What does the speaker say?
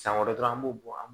San wɛrɛ dɔrɔn an b'o bɔ an